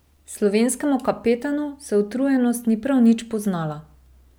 Slovenskemu kapetanu se utrujenost ni prav nič poznala.